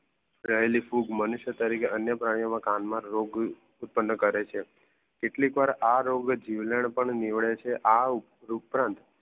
પ્રહલી ખૂબ મનુસિયા તરીકે અન્ય પરણ્યો કાન માં રોગ ઉત્પન કરે છે કેટલીક વાર આ રોજ જીવરણ પણ નિવરે છે આ ઉપરાંત